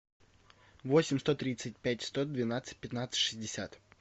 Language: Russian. восемь сто тридцать пять сто двенадцать пятнадцать шестьдесят